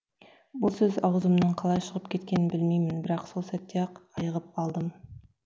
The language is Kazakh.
бұл сөз аузыман қалай шығып кеткенін білмеймін бірақ сол сәтте ақ айығып алдым